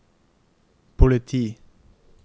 politi